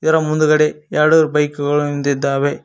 ಮುಂದ್ಗಡೆ ಎರಡು ಬೈಕ್ ಗಳು ನಿಂತಿದ್ದಾವೆ.